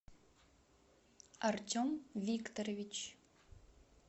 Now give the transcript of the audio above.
артем викторович